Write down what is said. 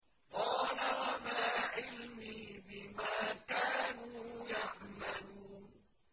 قَالَ وَمَا عِلْمِي بِمَا كَانُوا يَعْمَلُونَ